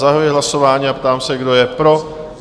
Zahajuji hlasování a ptám se, kdo je pro?